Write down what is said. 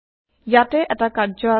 ইয়াতে এটা কাৰ্য আছে